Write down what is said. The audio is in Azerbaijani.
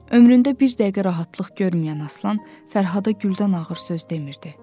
Ömründə bir dəqiqə rahatlıq görməyən Aslan Fərhada güldən ağır söz demirdi.